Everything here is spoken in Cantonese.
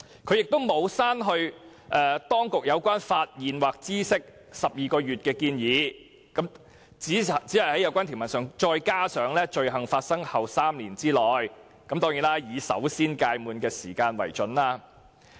他沒有刪去當局有關"發現或知悉有關罪行後12個月"的建議，只是在有關條文中再加上"罪行發生後的3年內"，並"以首先屆滿的期間為準"。